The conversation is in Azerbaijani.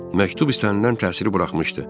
Məktub istənilən təsiri buraxmışdı.